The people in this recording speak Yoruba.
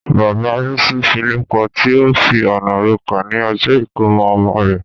Bàbá Rísí file pọti, ó fi ọ̀nà rokà ní ọjọ́ ìkómọ ọmọ rẹ̀.